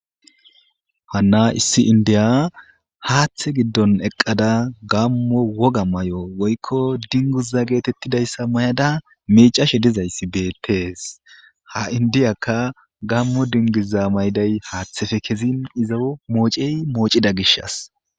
Hana issi India Hatha gidon eqada gamo woga mayo woykon dinguza mayada micashe dizaysi betes ha indiyaka gamo dinguza mayiday hatheppe kezin izo mocey mocida gishas